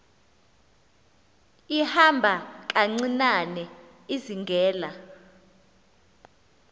ihamba kancinane izingela